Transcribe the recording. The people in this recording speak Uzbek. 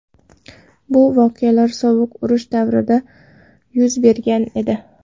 Bu voqealar sovuq urush davrida yuz bergan edi.